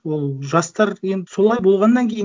ол жастар енді солай болғаннан кейін